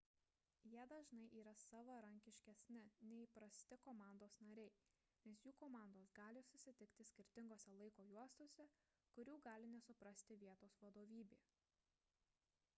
jie dažnai yra savarankiškesni nei įprasti komandos nariai nes jų komandos gali susitikti skirtingose laiko juostose kurių gali nesuprasti vietos vadovybė